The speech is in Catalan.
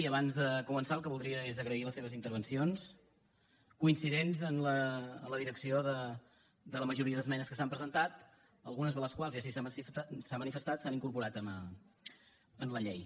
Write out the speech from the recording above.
i abans de començar el que voldria és agrair les seves intervencions coincidents en la direcció de la majoria d’esmenes que s’han presentat algunes de les quals i així s’ha manifestat s’han incorporat en la llei